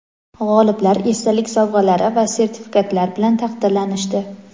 G‘oliblar esdalik sovg‘alari va sertifikatlar bilan taqdirlanishdi.